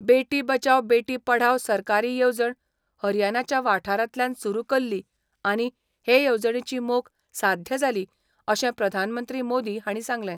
बेटी बचाव बेटी पढाव सरकारी येवजण हरयानाच्या वाठारांतल्यान सुरू केल्ली आनी हे येवजणेची मोख साध्य जाली अशें प्रधानमंत्री मोदी हांणी सांगलें.